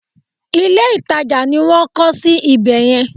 Ilé ìtajà ni wọ́n ń kọ́ sí ibè yẹn.